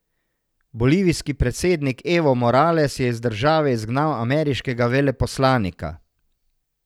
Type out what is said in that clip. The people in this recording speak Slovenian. Bolivijski predsednik Evo Morales je iz države izgnal ameriškega veleposlanika.